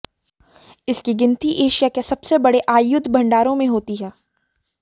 इसकी गिनती एशिया के सबसे बड़े आयुध भंडारों में होती है